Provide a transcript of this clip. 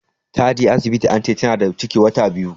Ta je asibiti ance Tana da ciki wata biyu.